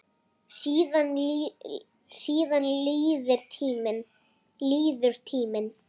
Síðan líður tíminn.